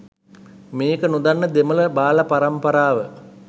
මේක නොදන්න දෙමළ බාල පරම්පරාව